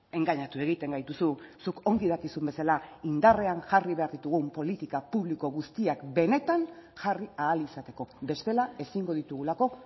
engainatu egiten gaituzu zuk ongi dakizun bezala indarrean jarri behar ditugun politika publiko guztiak benetan jarri ahal izateko bestela ezingo ditugulako